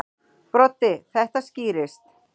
Broddi: Þetta skýrist.